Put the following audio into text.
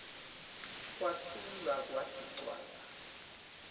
kwathula kwathi cwaka